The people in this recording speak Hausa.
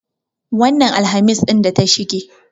Wannan Alhamis ɗin da ta shige.